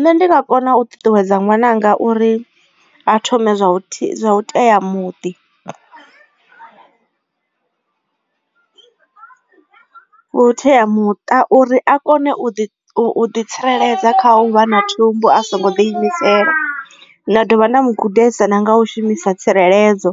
Nṋe ndi nga kona u ṱuṱuwedza ṅwananga uri a thome zwa u tea muḓi vhuteamuṱa uri a kone u ḓi u ḓi tsireledza kha u vha na thumbu a songo ḓi imisela nda dovha nda mu gudisa na nga u shumisa tsireledzo